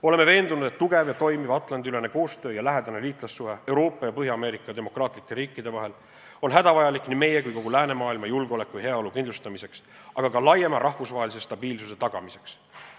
Oleme veendunud, et tugev ja toimiv Atlandi-ülene koostöö ja lähedane liitlassuhe Euroopa ja Põhja-Ameerika demokraatlike riikide vahel on hädavajalik nii meie kui ka kogu läänemaailma julgeoleku ja heaolu kindlustamiseks, aga ka laiema rahvusvahelise stabiilsuse tagamiseks.